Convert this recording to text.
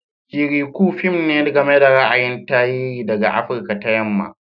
Kirikou fim ne game da ra'ayin tarihi daga Afirka ta Yamma.